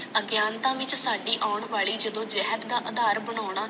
ਅਗਿਆਨਤਾ ਵਿਚ ਆਂਨ ਵਾਲੀ ਜਦੋ ਜਹਾਦ ਦਾ ਜਦੋ ਆਧਾਰ ਬਨਾਨਾ